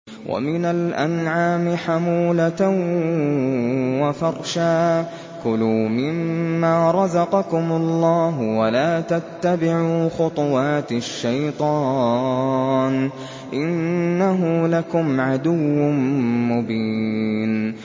وَمِنَ الْأَنْعَامِ حَمُولَةً وَفَرْشًا ۚ كُلُوا مِمَّا رَزَقَكُمُ اللَّهُ وَلَا تَتَّبِعُوا خُطُوَاتِ الشَّيْطَانِ ۚ إِنَّهُ لَكُمْ عَدُوٌّ مُّبِينٌ